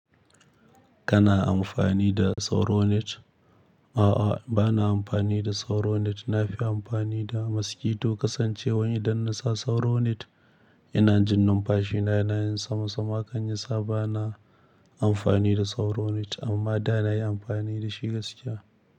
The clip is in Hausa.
Kana amfani da sauro net? A'a, bana amfani da sauro net. Na fi amfani da mosquito kasancewan idan na sa sauro net ina jin numfashina na yanayin sama-sama kan yi sa bana amfani da sauro net amma da na yi amfani da shi gaskiya.